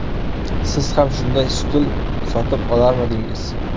Siz ham shunday stul sotib olarmidingiz?